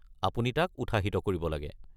আপুনি তাক উৎসাহিত কৰিব লাগে।